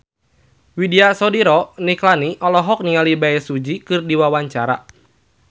Widy Soediro Nichlany olohok ningali Bae Su Ji keur diwawancara